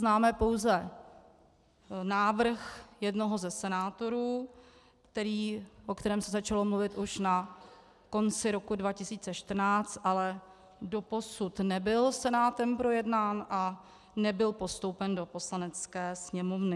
Známe pouze návrh jednoho ze senátorů, o kterém se začalo mluvit už na konci roku 2014, ale doposud nebyl Senátem projednán a nebyl postoupen do Poslanecké sněmovny.